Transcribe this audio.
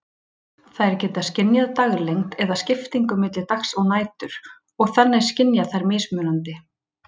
Þær geta skynjað daglengd eða skiptingu milli dags og nætur, og þannig skynja þær mismunandi